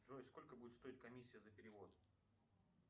джой сколько будет стоить комиссия за перевод